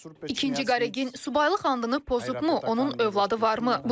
İkinci Qaregin, subaylıq andını pozubmu, onun övladı varmı?